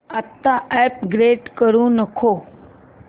आता अपग्रेड करू नको